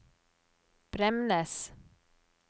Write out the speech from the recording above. Bremnes